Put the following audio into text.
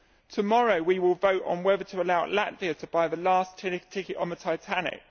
Tomorrow we will vote on whether to allow Latvia to buy the last ticket on the Titanic.